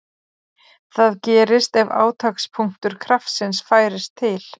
Það gerist ef átakspunktur kraftsins færist til.